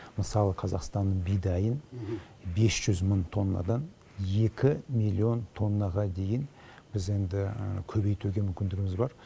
мысалы қазақстанның бидайын бес жүз мың тоннадан екі миллион тоннаға дейін біз енді көбейтуге мүмкіндігіміз бар